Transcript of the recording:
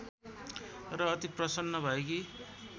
र अति प्रसन्न भएकी